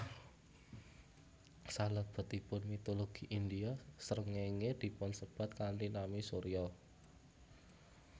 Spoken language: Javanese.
Salebetipun mitologi India srengéngé dipunsebat kanthi nami Surya